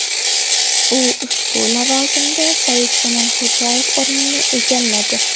U ushbu lavozimda Saidkamol Xo‘jayev o‘rnini egalladi.